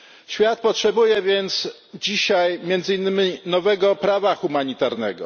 Świat potrzebuje więc dzisiaj między innymi nowego prawa humanitarnego.